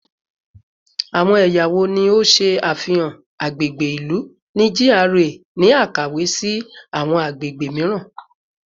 Awọn ẹya wo ni o ṣe afihan agbegbe ilu ni GRA ni akawe si awọn agbegbe miiran?